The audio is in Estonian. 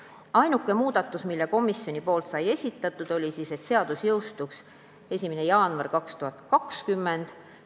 Ainuke muudatus, mille komisjon esitas, oli see, et seadus jõustuks 1. jaanuaril 2020.